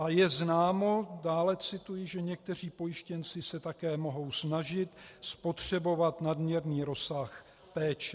A je známo," dále cituji, "že někteří pojištěnci se také mohou snažit spotřebovat nadměrný rozsah péče."